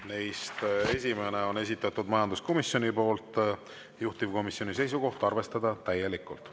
Neist esimene on esitatud majanduskomisjoni poolt, juhtivkomisjoni seisukoht: arvestada täielikult.